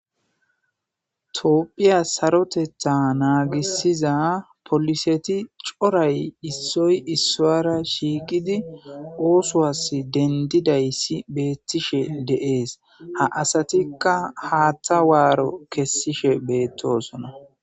Tophphiya sarotetha naagissiza poolisseti coray issoy issowaara shiiqidi oosowassi dendishe dizayssi beettishe de7ees.ha asatikka haatha waaro kessishe beettoosona.